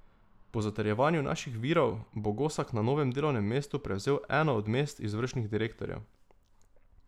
Po zatrjevanju naših virov bo Gosak na novem delovnem mestu prevzel eno od mest izvršnih direktorjev.